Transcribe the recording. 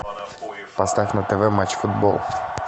поставь на тв матч футбол